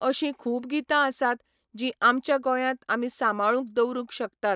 अशीं खूब गितां आसात जीं आमच्या गोंयांत आमी सांबाळून दवरूंक शकतात.